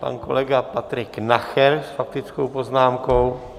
Pan kolega Patrik Nacher s faktickou poznámkou.